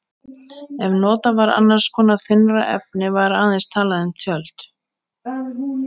Ef notað var annars konar þynnra efni var aðeins talað um tjöld.